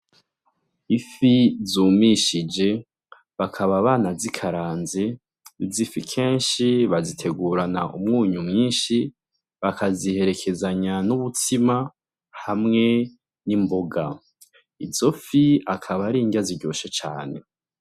Ifi zumishije bakaba banazikaranze, izi fi kenshi bazitegurana Umunyu mwinshi bakaziherekezanya n’ubutsima hamwe n’imboga. Izo fi akaba ari inrya ziryoshe cane.